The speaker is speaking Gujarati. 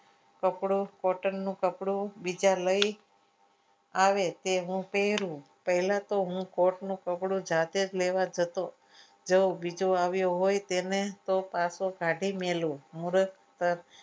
કપડું કોટનનું કપડું બીજા લઈ આવે તે હું પહેરું પહેલા તો હું કોર્ટનું કપડું જાતે જ લેવા જતો જાઓ બીજો આવ્યો હોય તેને તો પાછો કાઢી મેલુ મૂરખ